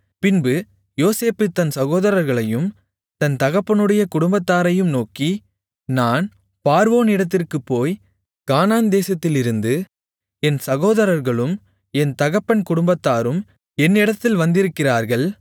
பின்பு யோசேப்பு தன் சகோதரர்களையும் தன் தகப்பனுடைய குடும்பத்தாரையும் நோக்கி நான் பார்வோனிடத்திற்குப் போய் கானான்தேசத்திலிருந்து என் சகோதரர்களும் என் தகப்பன் குடும்பத்தாரும் என்னிடத்தில் வந்திருக்கிறார்கள்